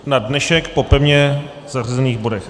Na dnešek po pevně zařazených bodech.